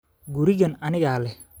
Gurigan anigaa leh